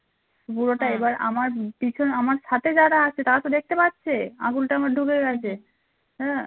পিছন আমার সাথে যারা আছে তারা তো দেখতে পাচ্ছে আঙ্গুলটা আমার ঢুকে গেছে হ্যাঁ